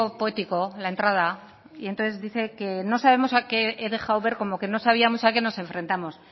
poético la entrada y entonces dice que no sabemos que he dejado ver como que no sabíamos a qué nos enfrentamos